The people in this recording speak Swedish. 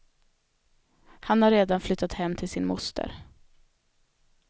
Han har redan flyttat hem till sin moster.